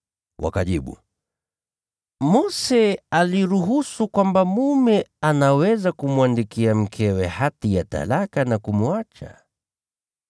Wakajibu, “Mose aliruhusu kwamba mume anaweza kumwandikia mkewe hati ya talaka na kumwacha.”